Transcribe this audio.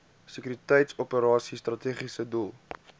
sekuriteitsoperasies strategiese doel